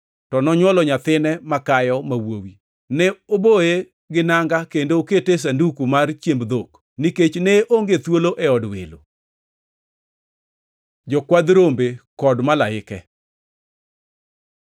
to nonywolo nyathine makayo, ma wuowi. Ne oboye gi nanga kendo nokete e sanduku mar chiemb dhok, nikech ne onge thuolo e od welo. Jokwadh rombe kod malaike